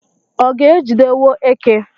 ọ ga-ejidewo eke?